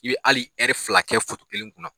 I bɛ ali fila kɛ kelen kunna.